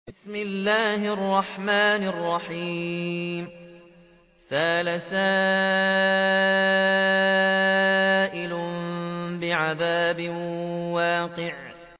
سَأَلَ سَائِلٌ بِعَذَابٍ وَاقِعٍ